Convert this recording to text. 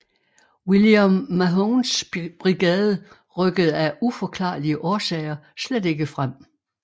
William Mahones brigade rykkede af uforklarlige årsager slet ikke frem